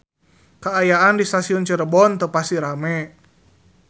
Kaayaan di Stasiun Cirebon teu pati rame